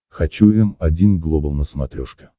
хочу м один глобал на смотрешке